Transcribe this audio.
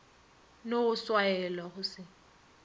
no go swaela go se